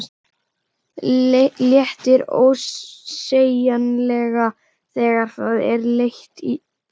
Léttir ósegjanlega þegar það er leitt í burtu.